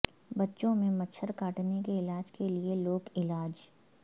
بچوں میں مچھر کاٹنے کے علاج کے لئے لوک علاج